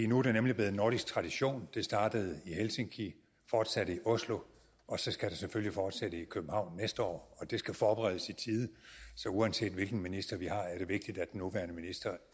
nu er det nemlig blevet en nordisk tradition det startede i helsinki fortsatte i oslo og så skal det selvfølgelig fortsætte i københavn næste år og det skal forberedes i tide så uanset hvilken minister vi har er det vigtigt at den nuværende minister